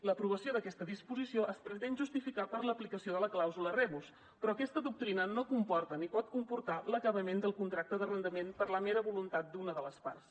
l’aprovació d’aquesta disposició es pretén justificar per l’aplicació de la clàusula rebus però aquesta doctrina no comporta ni pot comportar l’acabament del contracte d’arrendament per la mera voluntat d’una de les parts